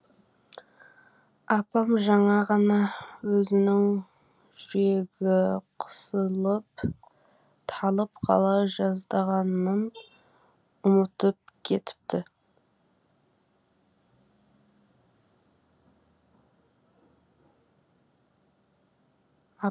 апам жаңа ғана өзінің жүрегі қысылып талып қала жаздағанын ұмытып кетіпті